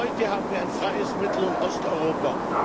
Heute haben wir ein freies Mittel und Osteuropa.